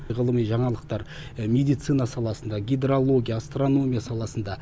ғылыми жаңалықтар медицина саласында гидрология астрономия саласында